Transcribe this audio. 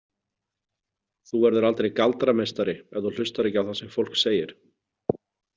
Þú verður aldrei galdrameistari ef þú hlustar ekki á það sem fólk segir.